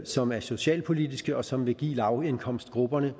som er socialpolitiske og som vil give lavindkomstgrupperne